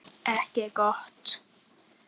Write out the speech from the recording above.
Ekki gott.